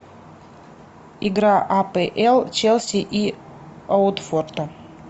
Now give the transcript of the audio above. игра апл челси и уотфорда